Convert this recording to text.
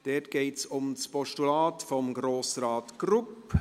Dort geht es um das Postulat von Grossrat Grupp.